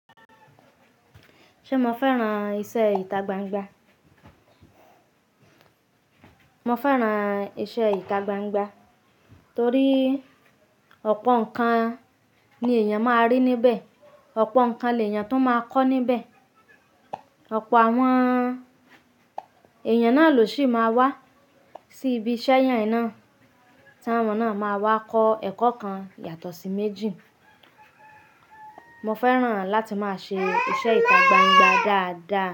Ṣé mo fẹ́ràn iṣẹ́ ìta gbangba? Mo fẹ́ràn iṣẹ́ ìta gbangba torí ọ̀pọ̀ nǹkan ni èèyàn máa rí níbẹ̀, ọ̀pọ̀ nǹkan lèèyàn tún máa kọ́ níbẹ̀. Ọ̀pọ̀ àwọn èèyàn náà lòṣi máa wá sí ibi iṣẹ́ yẹn náà, tí àwọ́n náà máa wá kọ́ ẹ̀kọ́ kan yàtọ̀ sí méjì. Mo fẹ́ràn láti máa ṣe iṣẹ́ ìta gbangba dáadáa.